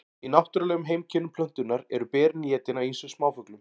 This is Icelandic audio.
í náttúrulegum heimkynnum plöntunnar eru berin étin af ýmsum smáfuglum